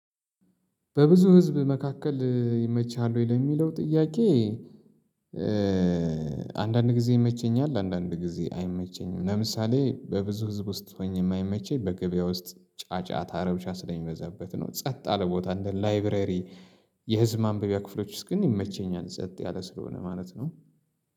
በብዙ ህዝብ መካከል ይመችሃል ወይ ለሚለው ጥያቄ? አንዳንድ ጊዜ ይመቸኛል አንዳንድ ጊዜ አይመቸኝም ለምሳሌ በብዙ ህዝብ ውስጥ ሆኜ የማይመቸኝ በገበያ ውስጥ ጫጫታ ረብሻ ስለሚመዛበት ነው። ጸጥ ያለ ቦታ እንደ ላይብረሪ የህዝብ ማንበቢያ ክፍሎች ውስጥ ግን ይመቸኛል። ጸጥ ያለ ስለሆነ ማለት ነው።